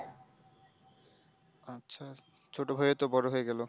আচ্ছা, ছোট ভাইও তো বড়ো হয়ে গেল?